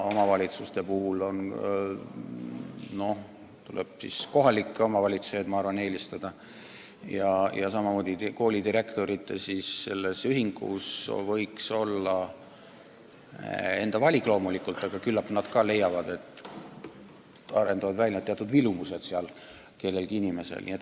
Omavalitsuste puhul tuleb vahest eelistada kohalikke omavalitsejaid ja koolijuhtide ühendus teeb enda valiku loomulikult, aga küllap nad ka leiavad, et mõnel inimesel võiks selles valdkonnas teatud vilumus välja kujuneda.